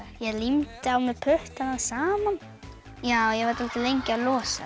ég límdi á mér puttana saman ég var dáldið lengi að losa